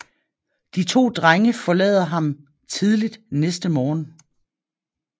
De to drenge forlader ham tidligt næste morgen